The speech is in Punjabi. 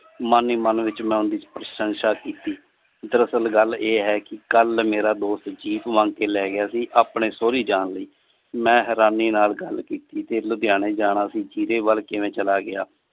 ਮਨ ਹੀ ਮਨ ਵਿਚ ਮਨ ਦੇ ਵਿਚ ਪ੍ਰਸ਼ੰਸਾ ਕੀਤੀ। ਦਰਅਸਲ ਗੱਲ ਇਹ ਹੈ ਕਿ ਕੱਲ ਮੇਰਾ ਦੋਸਤ jeep ਮੰਗ ਕੇ ਲੈ ਗਿਆ ਸੀ। ਆਪਣੇ ਸੋਹੇਰੀ ਜਾਨ ਲਈ। ਮੈ ਹੈਰਾਨੀ ਨਾਲ ਗੱਲ ਕੀਤੀ ਤੇ ਲੁਧਿਆਣੇ ਜਾਣਾ ਸੀ। ਜਿੰਦੇ ਕਿਵੇਂ ਚਲਾ ਗਿਆ।